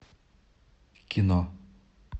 кино